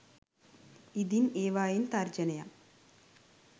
ඉඳින් ඒවායින් තර්ජනයක්